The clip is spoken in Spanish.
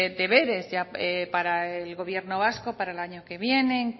deberes ya para el gobierno vasco para el año que viene